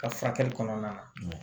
Ka furakɛli kɔnɔna na